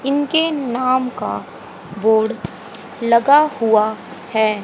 इनके नाम का बोर्ड लगा हुआ है।